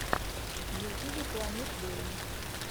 в ютьюбе планет долан